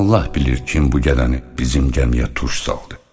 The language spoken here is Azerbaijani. Allah bilir kim bu gədəni bizim gəmiyə tuş saldı.